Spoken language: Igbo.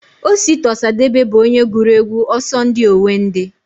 Osita Osadebe bụ onye gụrụ egwu Ọsọndị Owendị